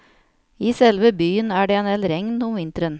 I selve byen er det endel regn om vinteren.